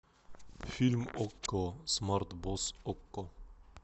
фильм окко смарт бокс окко